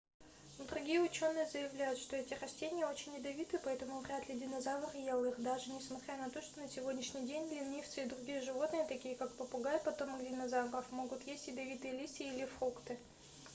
другие учёные заявляют что эти растения очень ядовиты поэтому вряд ли динозавр ел их даже несмотря на то что на сегодняшний день ленивцы и другие животные такие как попугай потомок динозавров могут есть ядовитые листья или фрукты